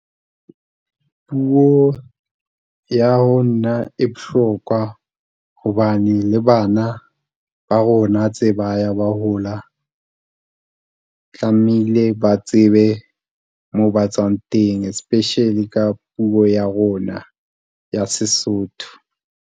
Puo ya ho nna e bohlokwa hobane le bana ba rona tse ba ya ba hola, tlamehile ba tsebe moo ba tswang teng, especially ka puo ya rona ya Sesotho.